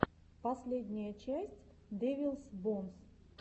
последняя часть дэвилс бонс